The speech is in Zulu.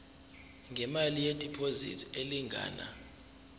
ngemali yediphozithi elingana